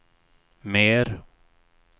mer